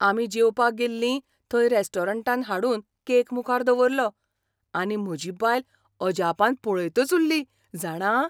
आमी जेवपाक गेल्लीं थंय रेस्टॉरंटान हाडून केक मुखार दवरलो आनी म्हजी बायल अजापान पळयतच उल्ली, जाणा?